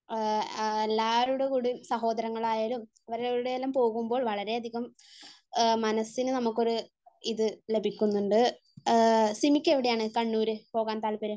എല്ലാരുടെ കൂടെ സഹോദരങ്ങളായാലും അവരുടെ കൂടെയെല്ലാം പോകുമ്പോൾ വളരെയധികം മനസ്സിന് നമ്മക്ക് ഒരു ഇത് ലഭിക്കുന്നുണ്ട്. സിമിക്ക് എവിടെയാണ് കണ്ണൂര് പോവാൻ താല്പര്യം?